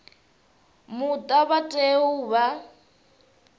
muta vha tea u vha